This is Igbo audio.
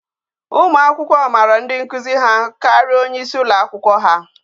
Ụmụ akwụkwọ mara ndi nkuzi ha karia onye isi ụlọ akwụkwọ ha